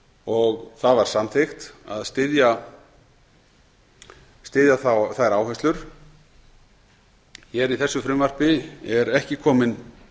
og það var samþykkt að styðja þá þær áherslur í þessu frumvarpi er ekki komin